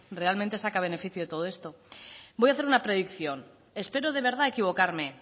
realmente saca beneficio de todo esto voy a hacer una predicción espero de verdad equivocarme